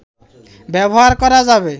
ব্যবহার করা যাবে